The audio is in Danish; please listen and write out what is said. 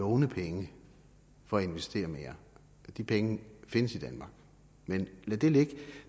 låne penge for at investere mere de penge findes i danmark men lad det ligge